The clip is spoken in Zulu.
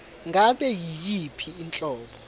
ngabe yiyiphi inhlobo